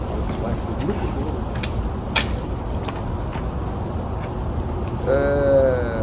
Saímos de Atibaia, com aquele grupo todo da do ginásio lá da escola, e fomos lá. Eh